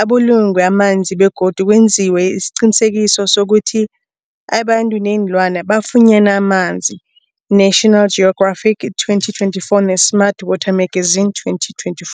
abulungwe amanzi begodu kwenziwe isiqiniseko sokuthi abantu neenlwana bafunyana amanzi, National Geographic 2024b, ne-Smart Water Magazine 2024.